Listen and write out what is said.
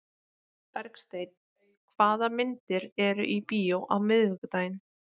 Bergsteinn, hvaða myndir eru í bíó á miðvikudaginn?